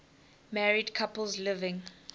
married couples living